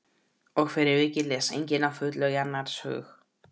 Og fyrir vikið les enginn að fullu í annars hug.